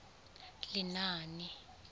lenaane